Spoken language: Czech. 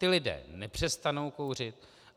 Ti lidé nepřestanou kouřit.